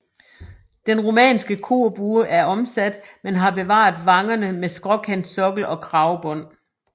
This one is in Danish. Den romanske korbue er omsat men har bevaret vangerne med skråkantsokkel og kragbånd